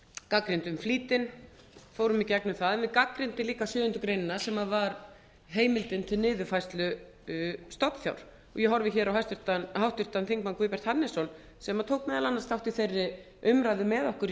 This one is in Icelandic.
gagnrýndum flýtinn fórum í gegnum það við gagnrýndum líka sjöundu greinar sem var heimildin til niðurfærslu stofnfjár ég horfi á háttvirtan þingmann guðbjart hannesson sem tók meðal annars þátt í þeirri umræðu með okkur í